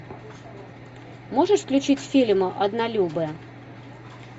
можешь включить фильм однолюбы